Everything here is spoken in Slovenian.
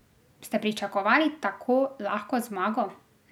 Ste pričakovali tako lahko zmago?